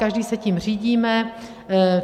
Každý se tím řídíme.